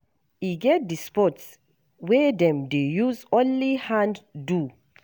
E get di sports wey dem dey use only hand do.